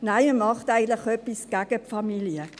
Nein! Man macht eigentlich etwas gegen die Familie.